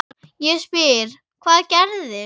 Ég spyr hvað gerðist?